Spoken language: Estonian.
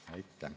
Aitäh!